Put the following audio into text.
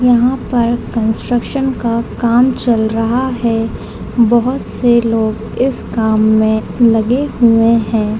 यहाँ पर कंस्ट्रक्शन का काम चल रहा है बहुत से लोग इस काम मे लगे हुए हैं ।